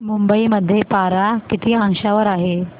मुंबई मध्ये पारा किती अंशावर आहे